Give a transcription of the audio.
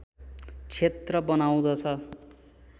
क्षेत्र बनाउदछ